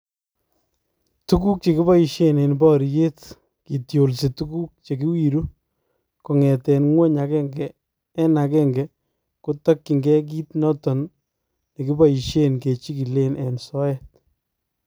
Tukuk chekibaisyeen en baryeet kotyolsi tukuk chekiwiru kong'eten ngwony agenge en agenge kotakyingee kiit noton nekiboishen kechikilen en soyeet